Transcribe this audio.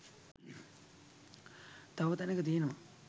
තව තැනැක තියෙනවා